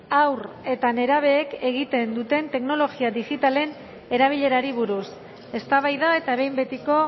haur eta nerabeek egiten duten teknologia digitalen erabilerari buruz eztabaida eta behin betiko